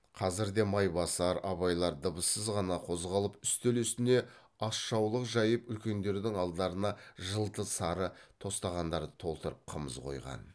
қазірде майбасар абайлар дыбыссыз ғана қозғалып үстел үстіне асжаулық жайып үлкендердің алдарына жылты сары тостағандарды толтырып қымыз қойған